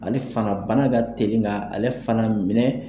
Ale fana, bana ka telik' ale fana minɛ.